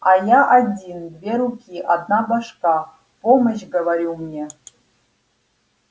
а я один две руки одна башка помощь говорю мне